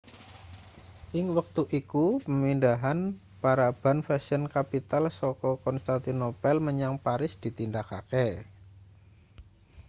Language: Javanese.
ing wektu iku pamindhahan paraban fashion capital saka konstantinopel menyang paris ditindakake